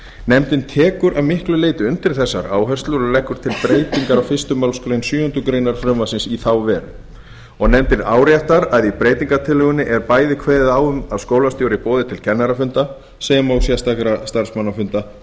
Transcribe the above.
tekur nefndin að miklu leyti undir þessar áherslur og leggur til breytingar á fyrstu málsgrein sjöundu greinar frumvarpsins í þá veru áréttar nefndin að í breytingartillögunni er bæði kveðið á um að skólastjóri boði til kennarafunda sem og sérstakra starfsmannafunda